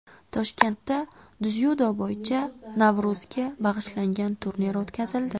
Toshkentda dzyudo bo‘yicha Navro‘zga bag‘ishlangan turnir o‘tkazildi.